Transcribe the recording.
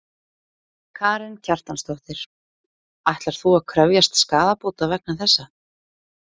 Karen Kjartansdóttir: Ætlar þú að krefjast skaðabóta vegna þessa?